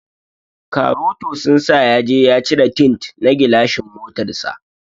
Karoto sun sa yaje ya cire tint na gilashin motar sa.